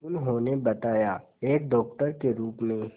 उन्होंने बताया एक डॉक्टर के रूप में